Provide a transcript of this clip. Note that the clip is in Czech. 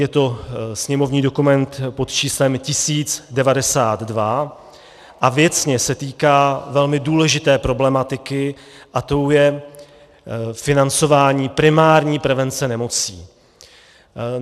Je to sněmovní dokument pod číslem 1092 a věcně se týká velmi důležité problematiky a tou je financování primární prevence nemocí.